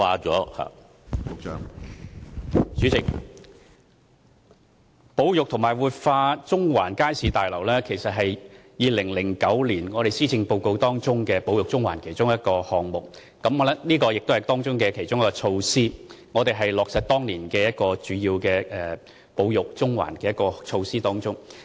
主席，保育和活化中環街市大樓是2009年施政報告提出"保育中環"的其中一個項目，也是其中一項措施，此舉是要落實當年"保育中環"的主要措施。